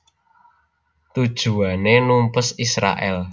Tujuané numpes Israèl